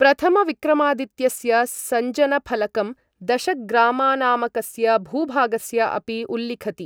प्रथम विक्रमादित्यस्य सञ्जनफलकं दशग्रामनामकस्य भूभागस्य अपि उल्लिखति।